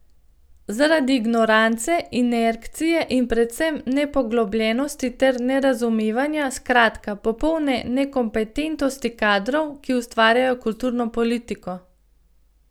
Zaradi ignorance, inercije in predvsem nepoglobljenosti ter nerazumevanja, skratka, popolne nekompetentnosti kadrov, ki ustvarjajo kulturno politiko.